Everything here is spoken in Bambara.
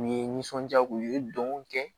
U ye nisɔndiya k'u ye dɔnkiliw kɛ